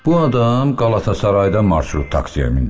Bu adam Qalatasarayda marşrut taksiyə mindi.